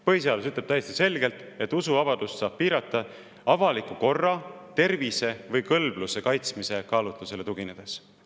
Põhiseadus ütleb täiesti selgelt, et usuvabadust saab piirata avaliku korra, tervise või kõlbluse kaitsmise kaalutlusele tuginedes.